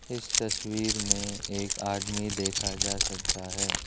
इस तस्वीर में एक आदमी देखा जा सकता है।